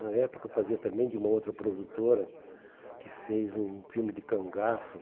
Na época fazia também de uma outra produtora que fez um filme de cangaço.